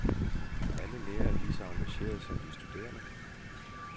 Alle lærerne er lige så engagerede som de studerende.